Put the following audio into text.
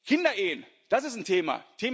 Kinderehen das ist ein Thema.